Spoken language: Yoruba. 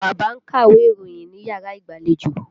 Bàbá ń ka iwe ìròyìn níyàrá ìgbàlejò.